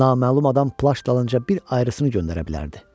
Naməlum adam plaş dalınca bir ayrıını göndərə bilərdi.